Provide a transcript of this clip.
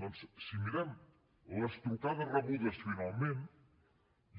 doncs si mirem les trucades rebudes finalment